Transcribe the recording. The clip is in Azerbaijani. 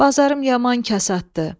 Bazarım yaman kasaddır.